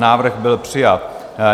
Návrh byl přijat.